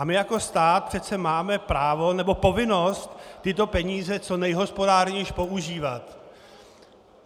A my jako stát přece máme právo nebo povinnost tyto peníze co nejhospodárněji používat.